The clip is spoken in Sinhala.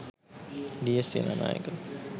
ඩී.එස්.සේනානායක,